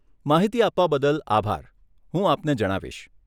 માહિતી આપવા બદલ આભાર, હું આપને જણાવીશ.